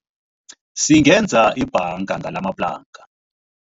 Singenza ibhanga ngalamaplanka.